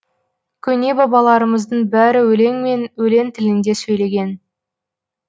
көне бабаларымыздың бәрі өлеңмен өлең тілінде сөйлеген